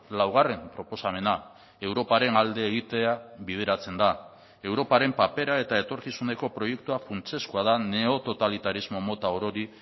laugarren proposamena europaren alde egitea bideratzen da europaren papera eta etorkizuneko proiektua funtsezkoa da neototalitarismo mota orori